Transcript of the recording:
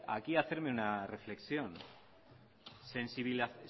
aquí hacerme una reflexión